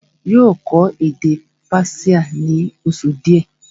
yóò kọ́ èdè Persia ní oṣù díẹ̀